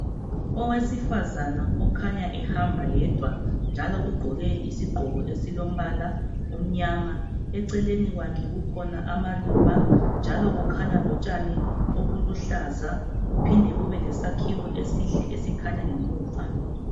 Owesifazana okhanya ehamba yedwa njalo ugqoke isigqoko esilombala omnyama eceleni kwakhe kukhona amaluba njalo kukhanya lotshani obuluhlaza kuphinde kube lesakhiwo esihle esikhanya ngemuva.